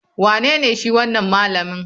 Wanene shi wanan malami?